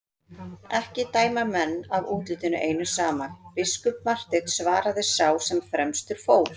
Ekki dæma menn af útlitinu einu saman, biskup Marteinn, svaraði sá sem fremstur fór.